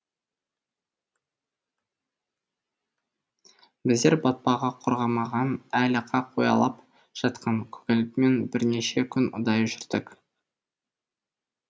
біздер батпағы құрғамаған әлі қақ ұялап жатқан көгалмен бірнеше күн ұдайы жүрдік